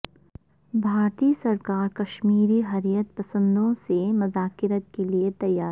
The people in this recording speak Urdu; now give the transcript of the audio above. بھارتی سرکار کشمیری حریت پسندوں سے مذاکرات کے لیے تیار